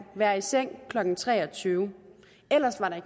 være i seng klokken tre og tyve ellers var der